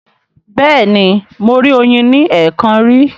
Bẹ́ẹ̀ni, mo rí oyin ní ẹ̀ẹ̀kan rí.